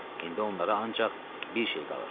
İndi onlara ancaq bir şey qalırdı: